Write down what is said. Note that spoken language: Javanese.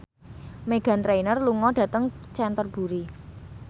Meghan Trainor lunga dhateng Canterbury